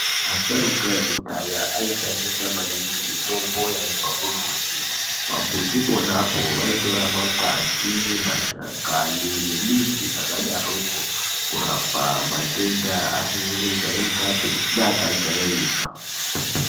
Asharuka ekudhaya aishandisa maningi mitombo yaibva kumbuti. Pambuti ponapo vaitora makwati, mashakani nemidzi dzakadarokwo kurapa matenda asizi kujairikapi neakajairika.